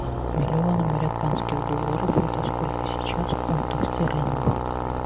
миллион американских долларов это сколько сейчас в фунтах стерлингов